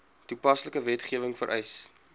toepaslike wetgewing vereis